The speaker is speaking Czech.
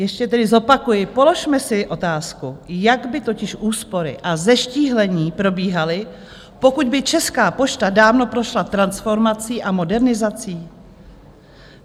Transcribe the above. Ještě tedy zopakuji: Položme si otázku, jak by totiž úspory a zeštíhlení probíhaly, pokud by Česká pošta dávno prošla transformací a modernizací?